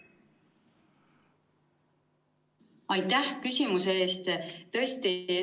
Aitäh küsimuse eest!